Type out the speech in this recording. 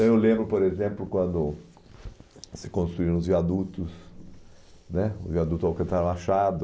Eu lembro, por exemplo, quando se construíram os viadutos né o viaduto Alcantara Machado,